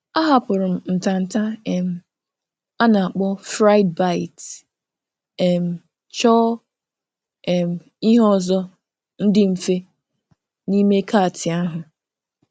Anaghị m eri um nri a na-fraịbites; kama nke ahụ, ahọpụtara m ihe dị mfe n’ime kàtị.